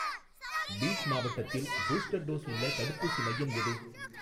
Beat மாவட்டத்தில் booster dose உள்ள தடுப்பூசி மையம் எது?